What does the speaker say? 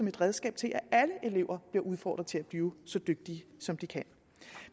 et redskab til at alle elever bliver udfordret til at blive så dygtige som de kan